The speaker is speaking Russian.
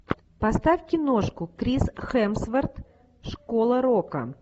поставь киношку крис хемсворт школа рока